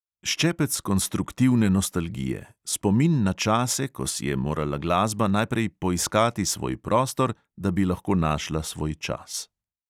Ščepec konstruktivne nostalgije, spomin na čase, ko si je morala glasba najprej poiskati svoj prostor, da bi lahko našla svoj čas.